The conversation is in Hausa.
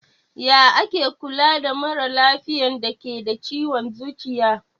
Ya ake Kula da maralafiyan dake da ciwon zuciya?